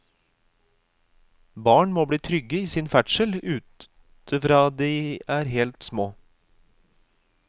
Barn må bli trygge i sin ferdsel ute fra de er helt små.